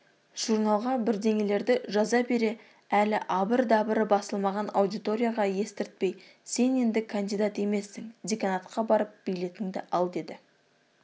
журналға бірдеңелерді жаза бере әлі абыр-дабыры басылмаған аудиторияға естірпей сен енді кандидат емессің деканатқа барып билетіңді ал деді